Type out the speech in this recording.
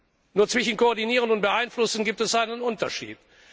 Und zwischen Koordinieren und Beeinflussen gibt es einen Unterschied.